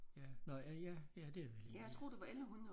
Ja nåh ja ja det er vel egentlig